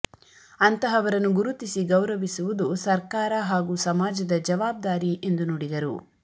ಅಂತಹವರನ್ನು ಗುರುತಿಸಿ ಗೌರವಿಸುವುದು ಸರ್ಕಾರ ಹಾಗೂ ಸಮಾಜ ಜವಾಬ್ದಾರಿ ಎಂದು ನುಡಿದರು